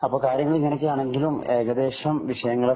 അപ്പൊ കാര്യങ്ങള്‍ ഇങ്ങനെയൊക്കെയാണെങ്കിലും ഏകദേശം വിഷയങ്ങളൊക്കെ